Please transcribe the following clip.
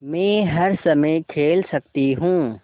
मै हर समय खेल सकती हूँ